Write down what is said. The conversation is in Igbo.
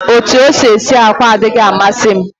Otú o si esi àkwá adịghị amasị m